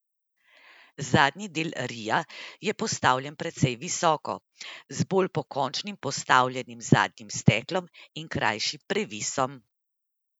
Zadnji del ria je postavljen precej visoko, z bolj pokončno postavljenim zadnjim steklom in krajšim previsom.